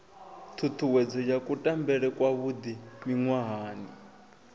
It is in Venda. ṱhuṱhuwedzo ya kutambele kwavhuḓi miṅwahani